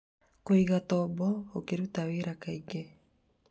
Kũigatombo ũkĩruta wĩra kaingĩ